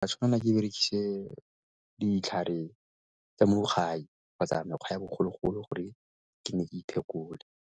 Tla tshwanela ke berekise ditlhare tsa mo gae kgotsa mekgwa ya bogologolo gore ke ne ke .